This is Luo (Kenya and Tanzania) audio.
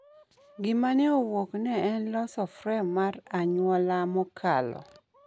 Gima ne owuok ne en loso frem mar anyuola mokalo.